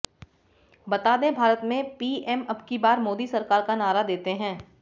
बता दें भारत में पीएम अबकी बार मोदी सरकार का नारा देते हैं